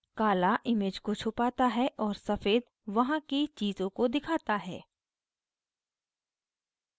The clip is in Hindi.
काला image को छुपाता है और सफ़ेद वहाँ की चीज़ों को दिखाता है